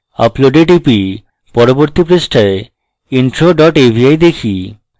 আপলোডে টিপি এবং পরবর্তী পৃষ্ঠায় intro dot avi দেখি